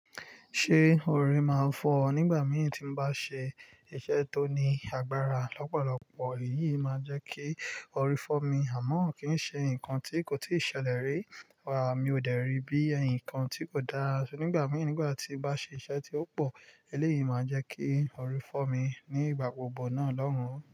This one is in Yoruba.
Ṣé orí máa fọ́ ọ nígbà mìíràn tí mo bá ṣe iṣẹ́ tó ní agbára lọ́pọ̀lọpọ̀? Èyí máa jẹ́ kí orí fọ́ mi, àmọ́ kì í ṣe nǹkan tí kò tí ì ṣẹlẹ̀ rí. Wá, mi ò dẹ̀rí bí ǹkan tí kò dára ṣe nígbà mìíràn nígbà tí mo bá ṣe iṣẹ́ tí ó pọ̀. Eléyìí máa jẹ́ kí orí fọ́ mi ní ìgbà gbogbo náà Ọlọ́run.